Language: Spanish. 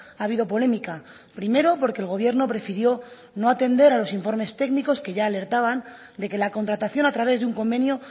ha habido polémica primero porque el gobierno prefirió no atender a los informes técnicos que ya alertaban de que la contratación a través de un convenio